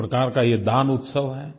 एक प्रकार का ये दान उत्सव है